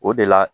O de la